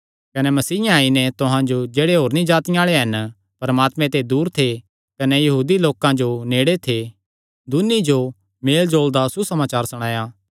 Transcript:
कने मसीयें आई नैं तुहां जो जेह्ड़े होरनी जातिआं आल़े हन परमात्मे ते दूर थे कने यहूदी लोकां जो जेह्ड़े नेड़े थे दून्नी जो मेलजोल दा सुसमाचार सणाया